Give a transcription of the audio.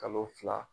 Kalo fila